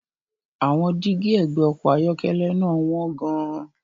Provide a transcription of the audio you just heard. Àwọn dígí ẹ̀gbẹ́ ọkọ̀ ayọ́kẹ́lẹ́ náà wọ́n gan-an.